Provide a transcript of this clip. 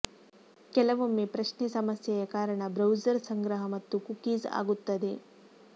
ಕೆಲವೊಮ್ಮೆ ಪ್ರಶ್ನೆ ಸಮಸ್ಯೆಯ ಕಾರಣ ಬ್ರೌಸರ್ ಸಂಗ್ರಹ ಮತ್ತು ಕುಕೀಸ್ ಆಗುತ್ತದೆ